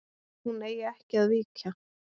Hún eigi ekki að víkja.